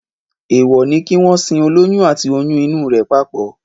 Èèwọ̀ ni kí wọ́n sin olóyún àti oyún inú rẹ̀ papọ̀